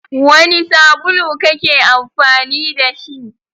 Wani sabulu kake amfani da shi?